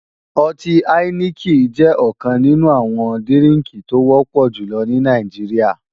Ọtí áíníkì jẹ́ ọ̀kan nínú àwọn dírínkì tó wọ́pọ̀ jùlọ ní Nàìjíríà